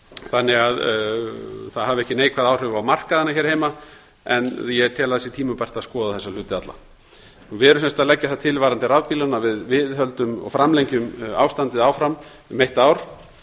þannig að það hafi ekki neikvæð áhrif á markaðina hér heima en ég tel tímabært að skoða þessa hluti alla við erum sem sagt að leggja það til varðandi rafbílana að við viðhöldum og framlengjum ástandið áfram um eitt ár